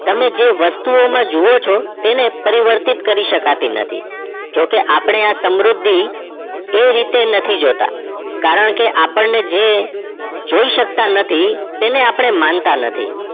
તમે જે વસ્તુ માં જે જોવો છો તેને પરિવતી કરી શકતી નથી જો કે આપડે સમૃદ્ધિ એ રીતે નથી જોતાં નથી કારણકે આપણે જે જોઈ કરતાં નથી તેને માનતા નથી